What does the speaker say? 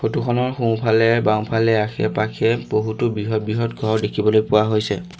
Photo খনৰ সোঁফালে বাওঁফালে আশে-পাশে বহুতো বৃহৎ বৃহৎ ঘৰ দেখিবলৈ পোৱা হৈছে।